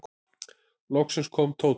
Loks kom Tóti.